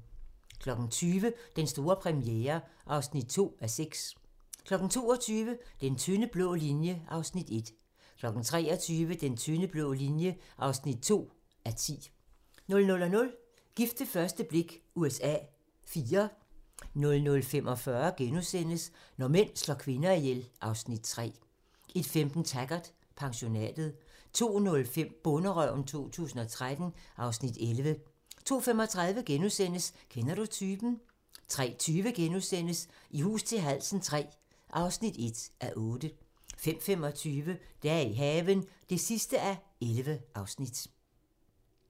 20:00: Den store premiere (2:6) 22:00: Den tynde blå linje (1:10) 23:00: Den tynde blå linje (2:10) 00:00: Gift ved første blik USA IV 00:45: Når mænd slår kvinder ihjel (Afs. 3)* 01:15: Taggart: Pensionatet 02:05: Bonderøven 2013 (Afs. 11) 02:35: Kender du typen? * 03:20: I hus til halsen III (1:8)* 05:25: Dage i haven (11:11)